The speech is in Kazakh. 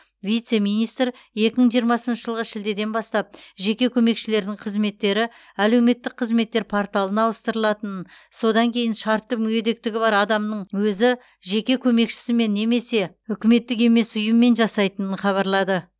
вице министр екі мың жиырмасыншы жылғы шілдеден бастап жеке көмекшілердің қызметтері әлеуметтік қызметтер порталына ауыстырылатынын содан кейін шартты мүгедектігі бар адамның өзі жеке көмекшісімен немесе үкіметтік емес ұйыммен жасайтынын хабарлады